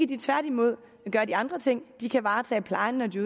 de tværtimod gøre de andre ting de kan varetage plejen når de